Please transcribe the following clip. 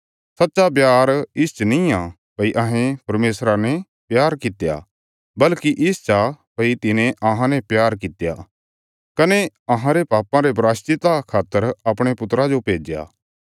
सच्चा प्यार इसच निआं भई अहें परमेशरा ने प्यार कित्या बल्कि इसच आ भई तिने अहांने प्यार कित्या कने अहांरे पापां रे प्रायश्चिता खातर अपणे पुत्रा जो भेज्या